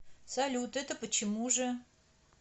салют это почему же